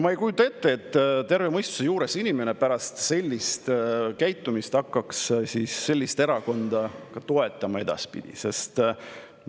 Ma ei kujuta ette, et terve mõistusega inimene pärast sellist käitumist seda erakonda edaspidi toetaks.